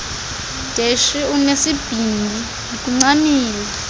deshy unesibindi ndikuncamile